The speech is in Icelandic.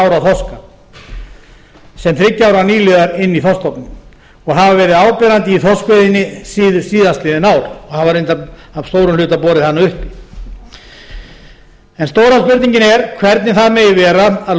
ára þorska sem þriggja ára nýliðar inn í þorskstofninn og hafa verið áberandi í þorskveiðinni síðastliðið ár og hafa reyndar að stórum hluta borið hana uppi en stóra spurningin er hvernig það megi vera að